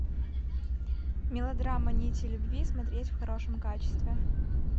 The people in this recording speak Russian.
мелодрама нити любви смотреть в хорошем качестве